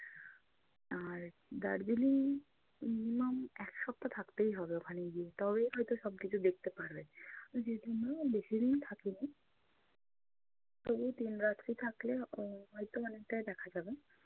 আর Darjeeling minimum এক সপ্তাহ থাকতেই হবে ওখানে গিয়ে তবেই হয়তো সব কিছু দেখতে পারবে। দুই-তিন দিনে বেশি দিন থাকিনি। তবুও তিন রাত্রি থাকলে আহ হয়তো অনেকটাই দেখা যাবে